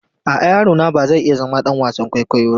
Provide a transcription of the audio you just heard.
A'a, yaro na ba zai iya zama ɗan wasan kwaikwayo na.